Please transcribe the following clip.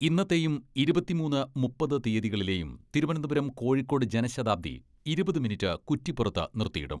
ഇന്നത്തെയും ഇരുപത്തിമൂന്ന്, മുപ്പത് തീയ്യതികളിലേയും തിരുവനന്തപുരം കോഴിക്കോട് ജനശതാബ്ദി ഇരുപത് മിനിറ്റ് കുറ്റിപ്പുറത്ത് നിർത്തിയിടും.